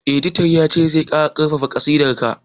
Editan ya ce 'Je ka karɓa kasidar ka'!